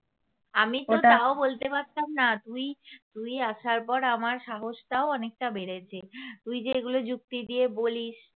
আমি তো তাও বলতে পারতাম না তুই তুই আসার পর আমার সাহসটাও অনেকটা বেড়েছে তুই যে এগুলো যুক্তি দিয়ে বলিস